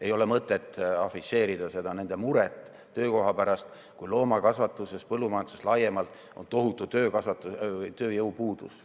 Ei ole mõtet afišeerida nende muret töökoha pärast, kui loomakasvatuses ja põllumajanduses laiemalt on tohutu tööjõupuudus.